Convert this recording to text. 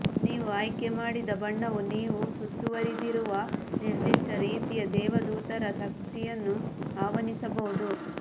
ನೀವು ಆಯ್ಕೆಮಾಡಿದ ಬಣ್ಣವು ನೀವು ಸುತ್ತುವರೆದಿರುವ ನಿರ್ದಿಷ್ಟ ರೀತಿಯ ದೇವದೂತರ ಶಕ್ತಿಯನ್ನು ಆಹ್ವಾನಿಸಬಹುದು